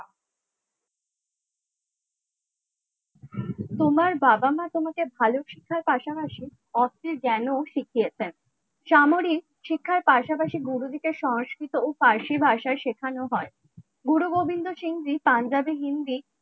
তোমার বাবা-মা তোমাকে ভালো শিখার পাশাপাশি অস্ত্রে ঞ্জান শিখিয়েছেন সামরিক শিক্ষার পাশাপাশি গুরুদিকে সংস্কৃত ও পারসি ভাষায় শেখানো হয় গুরু গোবিন্দ সিংটি পাঞ্জাবে হিন্দি